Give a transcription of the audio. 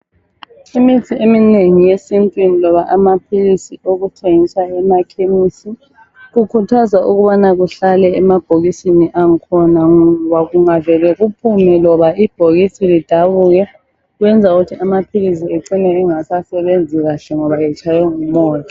Imithi eminengi yesintwini loba amaphilisi okuthengiswa emakhemisi kukhuthazwa ukubana kuhlale emabhokisini angakhona ngoba kungavela kuphume loba ibhokisi lidabuke kwenza ukuthi amaphilisi ecine engasasebenzi kahle ngoba etshaywe ngumoya